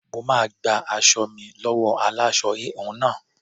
Mo máa gba aṣọ mi lọ́wọ́ aláṣọ-híhun náà.